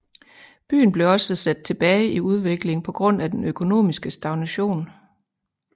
Byen blev også sat tilbage i udvikling på grund af den økonomiske stagnation